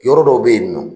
Yɔrɔ dɔw bɛ yen nɔ